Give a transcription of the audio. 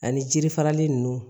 Ani jiri farali ninnu